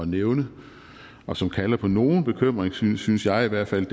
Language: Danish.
nævne og som kalder på nogen bekymring synes synes jeg i hvert fald